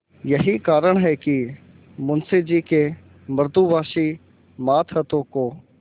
यही कारण है कि मुंशी जी के मृदुभाषी मातहतों को